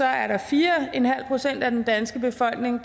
er der fire procent af den danske befolkning